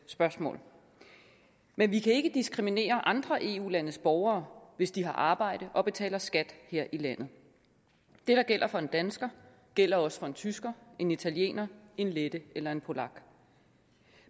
spørgsmål men vi kan ikke diskriminere andre eu landes borgere hvis de har arbejde og betaler skat her i landet det der gælder for en dansker gælder også for en tysker en italiener en lette eller en polak